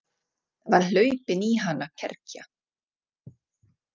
Það var hlaupin í hana kergja.